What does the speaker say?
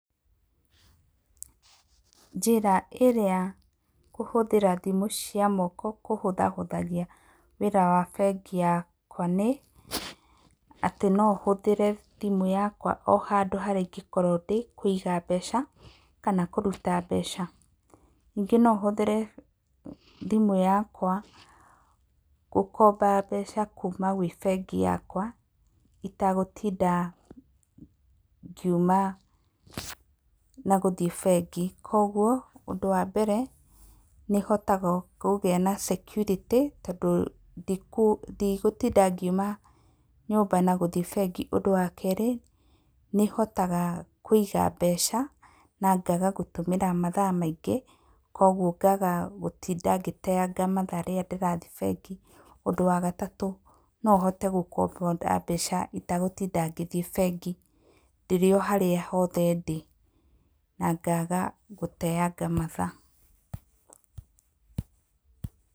Njĩra ĩrĩa kũhũthĩra thimũ cia moko kũhũthahũthagia wĩra wa bengi yakwa nĩ; atĩ no hũthĩre thimũ yakwa o handũ harĩa ingĩkorwo ndĩ kũiga mbeca kana kũruta mbeca. Ningĩ no hũthĩre thimũ yakwa gũkomba mbeca kuuma gwĩ bengi yakwa itagũtinda ngiuma na gũthiĩ bengi. Kwoguo ũndu wa mbere nĩ hotaga kũgĩa na security tondũ ndigũtinda ngiuma nyũmba na gũthiĩ bengi. Ũndũ wa kerĩ nĩ hotaga kũiga mbeca na ngaaga gũtũmĩra mathaa maingĩ kwoguo ngaga gũtinda ngĩteaga mathaa rĩrĩa ndĩrathiĩ bengi. Ũndũ wa gatatũ no hote gũkomba mbeca itagũtinda ngĩthiĩ bengi ndĩrĩ o harĩa hothe ndĩ na ngaga gũteaga mathaa.